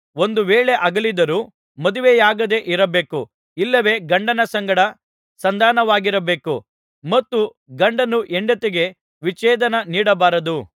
ಒಂದು ವೇಳೆ ಅಗಲಿದರೂ ಮದುವೆಯಾಗದೆ ಇರಬೇಕು ಇಲ್ಲವೆ ಗಂಡನ ಸಂಗಡ ಸಂಧಾನವಾಗಿರಬೇಕು ಮತ್ತು ಗಂಡನು ಹೆಂಡತಿಗೆ ವಿಚ್ಛೇದನ ನೀಡಬಾರದು